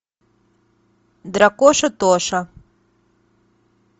дракоша тоша